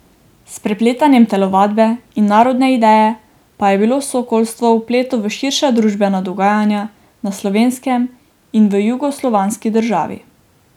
S prepletanjem telovadbe in narodne ideje pa je bilo sokolstvo vpeto v širša družbena dogajanja na Slovenskem in v jugoslovanski državi.